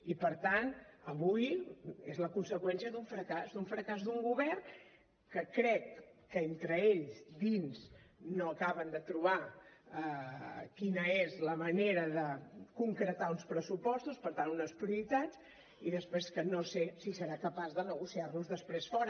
i per tant avui és la conseqüència d’un fracàs d’un fracàs d’un govern que crec que entre ells dins no acaben de trobar quina és la manera de concretar uns pressupostos per tant unes prioritats i després que no sé si serà capaç de negociar los després fora